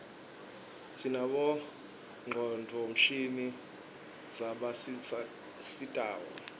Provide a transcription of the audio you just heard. sinabonqconduo mshini zabasistako